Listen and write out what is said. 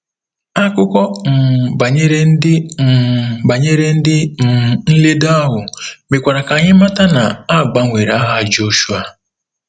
Akụkọ um banyere ndị um banyere ndị um nledo ahụ mekwara ka anyị mata na a gbanwere aha Jọshụa.